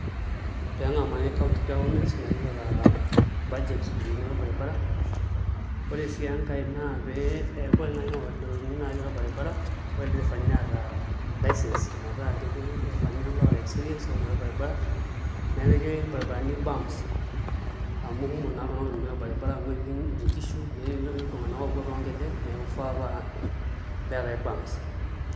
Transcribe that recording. Pengamari county government metipika budget ropiyani orbaribara ore si enkae na eaku ntokitin natii orbaribara ore lder efani neeta licence metaa ketiu lderefani oota experience otii orbaribara nepiki rbaribarani bumps qmu kumok ltunganak oitumia orbaribara amu etii nkishu netii ltunganak opuo tonkejek neaku ifaa peatae bumps [cs[